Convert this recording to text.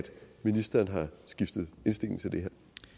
ministeren har skiftet indstilling til det